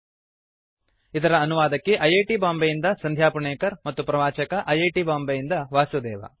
httpspoken tutorialorgNMEICT Intro ಇದರ ಅನುವಾದಕಿ I I T Bombay ಯಿಂದ ಸಂಧ್ಯಾ ಪುಣೇಕರ್ ಮತ್ತು ಪ್ರವಾಚಕ ಐ ಐ ಟಿ ಬಾಂಬೆಯಿಂದ ವಾಸುದೇವ